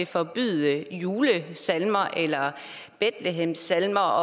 forbyde julesalmer eller bethlehemsalmer